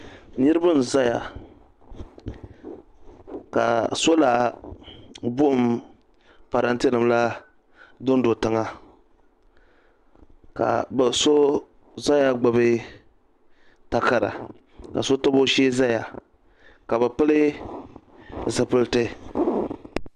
Niriba n zaya ka sola buɣum parante nima la dondo tiŋa ka so zaya gbibi takara ka so tabi o shee ka bɛ pili.